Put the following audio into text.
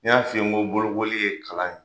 N y'a f'i ye n ko bolokobli ye kalan ye